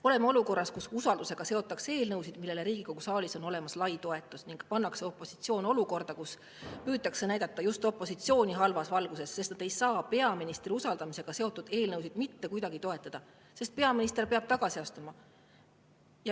Oleme olukorras, kus usaldusega seotakse eelnõusid, millele Riigikogu saalis on olemas lai toetus, ning opositsioon pannakse olukorda, kus just opositsiooni püütakse näidata halvas valguses, sest opositsioon ei saa peaministri usaldamisega seotud eelnõusid mitte kuidagi toetada, kuna peaminister peaks tagasi astuma.